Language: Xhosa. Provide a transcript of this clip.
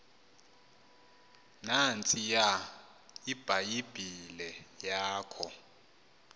nantsiya ibhayibhile yakho